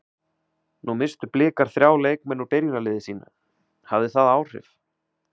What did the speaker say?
Nú misstu Blikar þrjá leikmenn úr byrjunarliði sínu, hafði það áhrif?